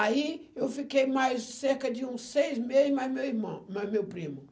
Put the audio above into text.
Aí eu fiquei mais cerca de uns seis meses mais meu irmão, mais meu primo.